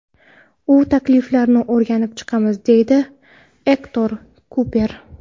U takliflarni o‘rganib chiqamiz”, deydi Ektor Kuper.